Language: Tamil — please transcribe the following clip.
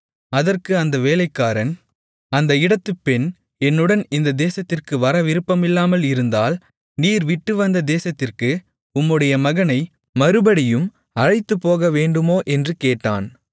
அதற்கு அந்த வேலைக்காரன் அந்த இடத்துப் பெண் என்னுடன் இந்தத் தேசத்திற்கு வர விருப்பமில்லாமல் இருந்தால் நீர் விட்டுவந்த தேசத்திற்கு உம்முடைய மகனை மறுபடியும் அழைத்துப்போகவேண்டுமோ என்று கேட்டான்